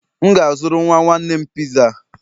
M ga-azụrụ nwa nwanne m Pizza